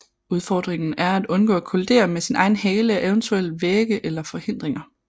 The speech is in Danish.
Udfordringen er at undgå at kollidere med sin egen hale og eventuelle vægge eller forhindringer